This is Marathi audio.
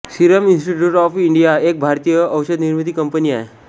सीरम इन्स्टिट्यूट ऑफ इंडिया एक भारतीय औषधनिर्माती कंपनी आहे